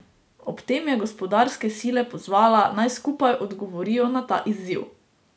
Ob tem je gospodarske sile pozvala, naj skupaj odgovorijo na ta izziv.